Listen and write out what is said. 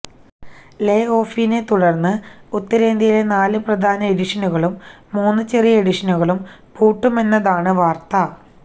ലേ ഓഫിനെ തുടർന്ന് ഉത്തരേന്ത്യയിലെ നാല് പ്രധാന എഡിഷനുകളും മൂന്ന് ചെറിയ എഡിഷനുകളും പൂട്ടുമെന്നതാണ് വാർത്ത